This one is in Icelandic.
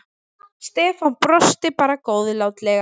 Stefán brosti bara góðlátlega.